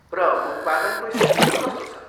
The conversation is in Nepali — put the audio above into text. र उत्पादन को स्थिति कस्तो छ?